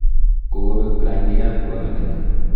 Kokobek rangikab kwoyonik.